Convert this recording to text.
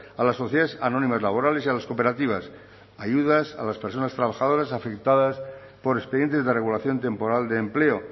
a las sociedades anónimas laborales y a las cooperativas ayudas a las personas trabajadoras afectadas por expedientes de regulación temporal de empleo